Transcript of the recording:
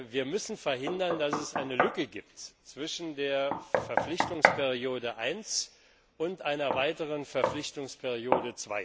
Wir müssen verhindern, dass es eine Lücke gibt zwischen der Verpflichtungsperiode 1 und einer weiteren Verpflichtungsperiode